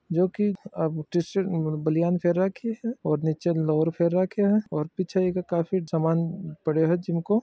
जो की टीशर्ट बनियान रखी है और नीचे लोअर पहन राखी है और पीछे ए काफी सामान पड्यो है जिम--